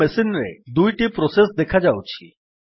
ମୋ ମେସିନ୍ ରେ ଦୁଇଟି ପ୍ରୋସେସ୍ ଦେଖାଉଛି